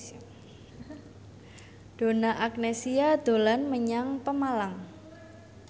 Donna Agnesia dolan menyang Pemalang